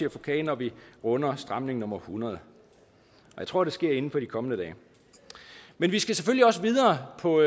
og få kage når vi runder stramning nummer hundrede jeg tror det sker inden for de kommende dage men vi skal selvfølgelig også videre på